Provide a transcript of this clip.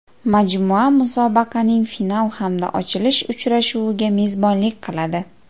Majmua musobaqaning final hamda ochilish uchrashuviga mezbonlik qiladi.